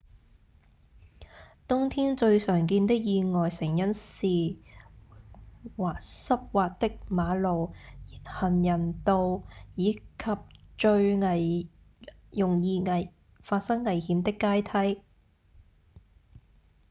冬天最常見的意外成因是溼滑的馬路、人行道、及最容易發生危險的階梯